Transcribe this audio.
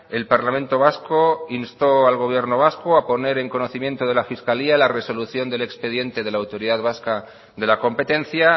el parlamento vasco instó al gobierno vasco a poner en conocimiento de la fiscalía la resolución del expediente de la autoridad vasca de la competencia